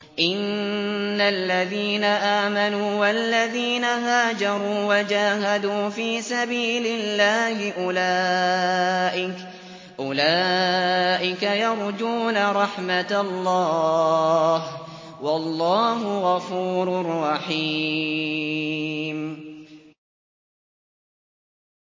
إِنَّ الَّذِينَ آمَنُوا وَالَّذِينَ هَاجَرُوا وَجَاهَدُوا فِي سَبِيلِ اللَّهِ أُولَٰئِكَ يَرْجُونَ رَحْمَتَ اللَّهِ ۚ وَاللَّهُ غَفُورٌ رَّحِيمٌ